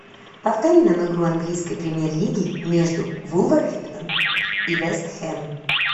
повтори нам игру английской премьер лиги между вулверхэмптон и вест хэм